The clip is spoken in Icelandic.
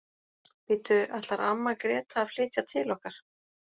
Bíddu, ætlar amma Gréta að flytja til okkar?